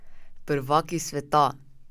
Prvaki sveta!